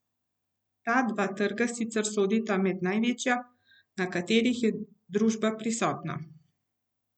Ta dva trga sicer sodita med največja, na katerih je družba prisotna.